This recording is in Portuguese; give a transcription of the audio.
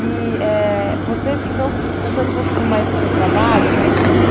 éh você, então, contando um pouquinho mais do seu trabalho, né?